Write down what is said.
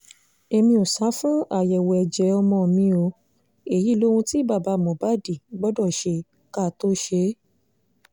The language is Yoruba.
èmi ò sá fún àyẹ̀wò ẹ̀jẹ̀ ọmọ mi o èyí lohun tí bàbá mohbad gbọ́dọ̀ ṣe ká tóó ṣe é